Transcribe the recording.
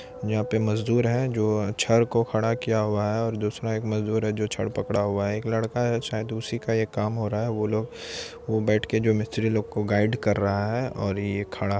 यहाँ पे मजदूर है जो छड को खड़ा किया हुआ है और दूसरा एक मजदूर है जो छड़ पकड़ा हुआ है। एक लड़का है शायद उसी का ये काम हो रहा है। वो लोग वो बैठके के जो मिस्तरी लोग को गाइ कर रहा है और ये खड़ा --